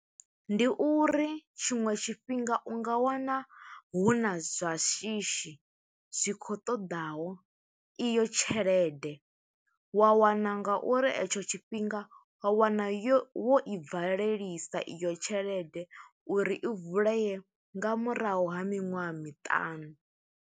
Ndi uri tshiṅwe tshifhinga, u nga wana huna zwa shishi zwi khou ṱoḓaho iyo tshelede. Wa wana nga uri e tsho tshifhinga, wa wana yo wo i valelisa iyo tshelede uri i vuleye nga murahu ha miṅwaha miṱanu.